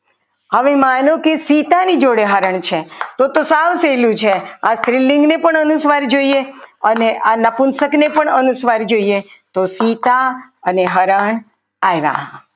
હવે માનો કે સીતા ની જોડે હરણ છે તો તો સાવ સહેલું છે આ સ્ત્રીલિંગને પણ અનુસ્વાર જોઈએ અને આ નપુંસક ને પણ અનુસ્વાર જોઈએ તો સીતા અને હરણ આવ્યા.